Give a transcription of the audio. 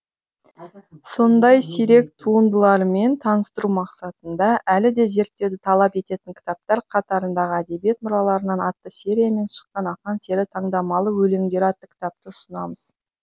сондай сирек туындылармен таныстыру мақсатында әлі де зерттеуді талап ететін кітаптар қатарындағы әдебиет мұраларынан атты сериямен шыққан ақан сері таңдамалы өлеңдері атты кітапты ұсынамыз